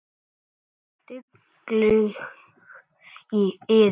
Dugleg og iðin.